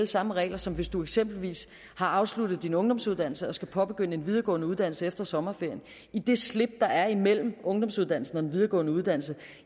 samme regler som hvis du eksempelvis har afsluttet din ungdomsuddannelse og skal påbegynde en videregående uddannelse efter sommerferien i det slip der er imellem ungdomsuddannelsen og den videregående uddannelser